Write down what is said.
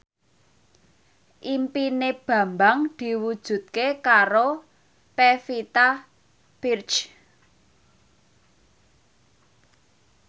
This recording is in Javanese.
impine Bambang diwujudke karo Pevita Pearce